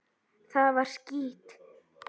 Það var skítt.